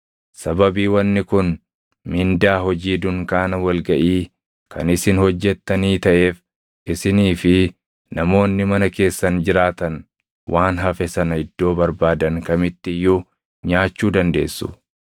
Sababii wanni kun mindaa hojii dunkaana wal gaʼii kan isin hojjettanii taʼeef isinii fi namoonni mana keessan jiraatan waan hafe sana iddoo barbaadan kamitti iyyuu nyaachuu dandeessu.